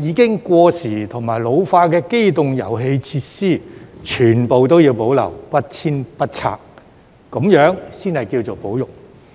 已經過時和老化的機動遊戲設施，全部都要保留，不遷不拆，這樣才能稱為"保育"。